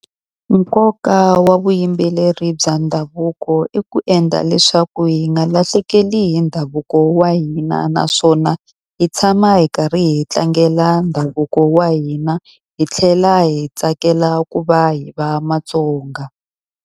Nkoka wa vuyimbeleri bya ndhavuko i ku endla leswaku hi nga lahlekeli hi ndhavuko wa hina. Naswona hi tshama hi karhi hi tlangela ndhavuko wa hina hi tlhela hi tsakela ku va hi va Matsonga.